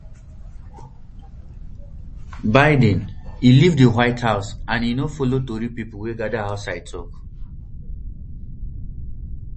biden e leave di white house and e no follow tori pipo wey gada outside tok